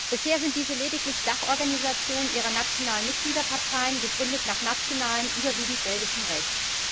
Bisher sind diese lediglich Dachorganisationen ihrer nationalen Mitgliederparteien, gegründet nach nationalem, überwiegend belgischem, Recht.